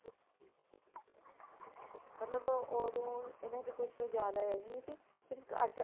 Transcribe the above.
ਮਤਲਬ ਉਦੋਂ ਇਹਨਾਂ ਦੀ ਕੁਛ ਜ਼ਿਆਦਾ ਹੈਨੀ ਸਿਰਫ਼ ਅੱਠ